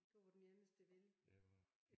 Du var den eneste villige